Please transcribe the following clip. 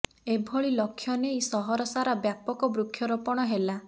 ଏଭଳି ଲକ୍ଷ୍ୟ ନେଇ ସହର ସାରା ବ୍ୟାପକ ବୃକ୍ଷରୋପଣ ହେଲା